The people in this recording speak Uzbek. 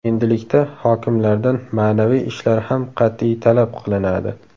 Endilikda hokimlardan ma’naviy ishlar ham qat’iy talab qilinadi.